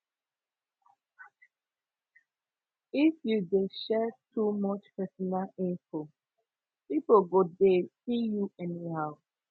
if you dey share too much personal info pipo go dey see you anyhow